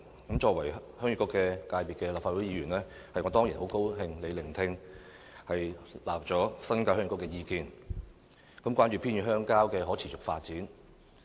我作為立法會鄉議局界別的議員，當然很高興特首聆聽並接納鄉議局的意見，關注偏遠鄉郊的可持續發展。